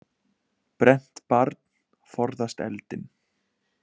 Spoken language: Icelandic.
Brennt barn forðast eldinn.